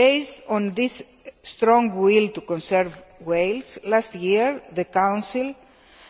Based on this strong will to conserve whales, last year the Council